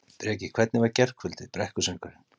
Breki: Hvernig var gærkvöldið, brekkusöngurinn?